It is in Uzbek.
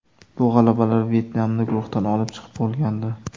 Bu g‘alabalar Vyetnamni guruhdan olib chiqib bo‘lgandi.